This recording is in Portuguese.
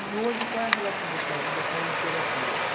E hoje qual é a relação da sua vida com a literatura?